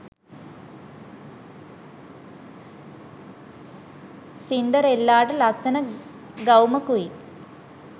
සින්ඩරෙල්ලාට ලස්සන ගවුමකුයි